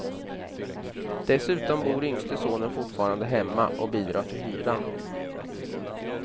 Dessutom bor yngste sonen fortfarande hemma och bidrar till hyran.